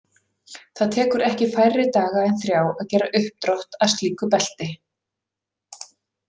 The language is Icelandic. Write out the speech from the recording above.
Það tekur ekki færri daga en þrjá að gera uppdrátt að slíku belti.